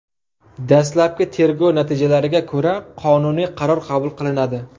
Dastlabki tergov natijalariga ko‘ra, qonuniy qaror qabul qilinadi.